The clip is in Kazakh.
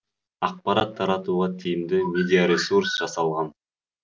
ақпарат таратуға тиімді медиаресурс жасалған